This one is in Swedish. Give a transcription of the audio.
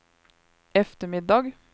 eftermiddag